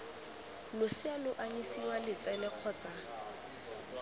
losea lo anyisiwa letsele kgotsa